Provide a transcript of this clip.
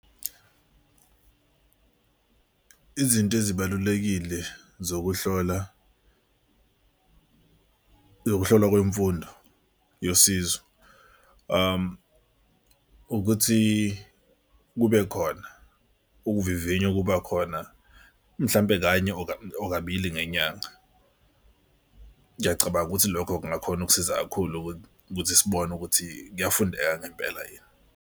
Izinto ezibalulekile zokuhlola zokuhlolwa kwemfundo yosizo ukuthi kube khona ukuvivinya okuba khona mhlampe kanye or kabili ngenyanga. Ngiyacabanga ukuthi lokho kungakhona ukusiza kakhulu ukuthi sibone ukuthi kuyafundeka ngempela yini.